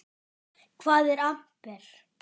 Hvað er amper?